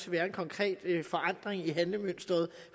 være en konkret forandring i regeringens handlemønster